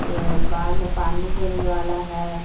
ये बाद में पानी देने वाला है।